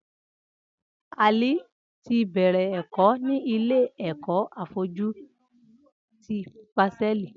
Ali ti bẹrẹ ẹkọ ni ilé ẹkọ áfọ̀jù ti pásẹ̀lí